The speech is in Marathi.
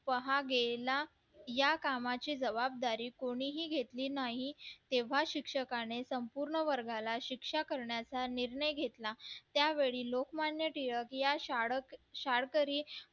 पहा गेला या कामाची जबाबदारी कोणीही घेतली नाही तेव्हा शिक्षकाने संपूर्ण वर्गाला शिक्षा करण्याचा निर्णय घेतला त्यावेळी लोकमान्य टिळक या